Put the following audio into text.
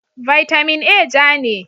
Vitamin A ja ne.